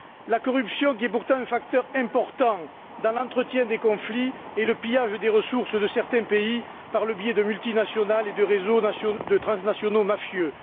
La corruption est pourtant un facteur important dans l'entretien des conflits et le pillage des ressources de certains pays par le biais de multinationales et de réseaux transnationaux mafieux.